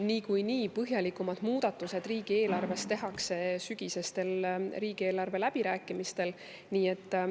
Niikuinii tehakse põhjalikumad muudatused riigieelarvesse sügiseste riigieelarve läbirääkimiste.